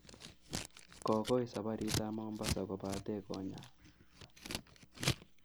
Kokoi saparit ap Mombasa kopate konyal.